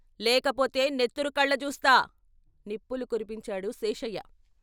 లేకపోతే నెత్తురు కళ్ళ జూస్తా " నిప్పులు కురిపించాడు శేషయ్య.